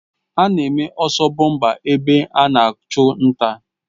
Ana-eme ọsọ bọmpa ebe ana achụ nta.